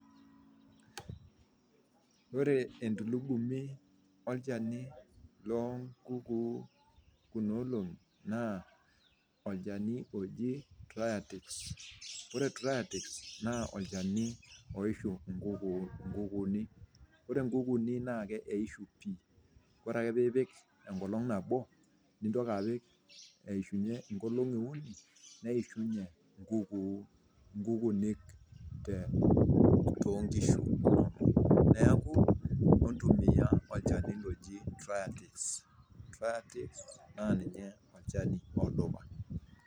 Ore entulugumi olchani nkukuu kuna olong'i naa olchani oji tritex, ore triatex naa olchani oishu nkunkuuni, ore nkukuuni naa eishu pii, ore ake piipik enkolong nabo, nintoki ake aishunye inkolong'i uni neishunye inkukuu, inkukunyek te too inkishu, naaku intumiya olchani loji triatext naa ninye olchani odupa.